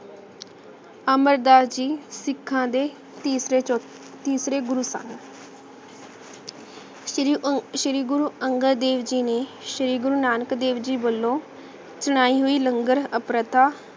ਅਮਰ ਦਸ ਜੀ ਸਿਖਾਂ ਦਾ ਤੀਸਰੇ ਗਰੂ ਸਨ ਸ਼੍ਰੀ ਗੁਰੂ ਅੰਗਦ ਦੇਵ ਜੀਨੇ ਸ਼੍ਰੀ ਗੁਰੂ ਨਾਨਕ ਦੇਵ ਜੀ ਵਲੋਂ ਨਾਹਿਨੀ ਲੰਗਰ ਅਪ੍ਰਥਾ